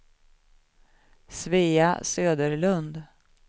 Svea Söderlund